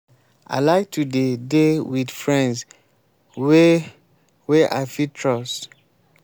i like to dey dey wit friends wey wey i fit trust.